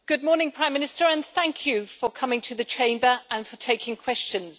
Mr President, good morning, Prime Minister, and thank you for coming to the Chamber and for taking questions.